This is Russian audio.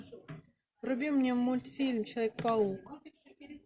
вруби мне мультфильм человек паук